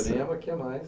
Chá de jurema aqui é mais.